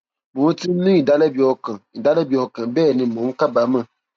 mò ti ń ní ìdálẹbi ọkàn ìdálẹbi ọkàn bẹẹ ni mò ń kábàámọ